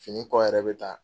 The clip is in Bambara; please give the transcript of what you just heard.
Fini kɔ yɛrɛ bɛ taa